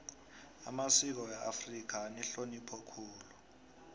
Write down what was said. amasiko weafrika anehlonipho khulu